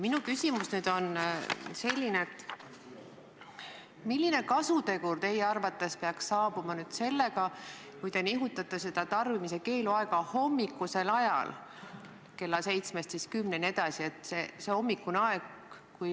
Minu küsimus on selline: milline kasutegur teie arvates peaks olema sellel, kui te nihutate seda tarbimise keelu aega hommikul kella seitsmest kümne peale?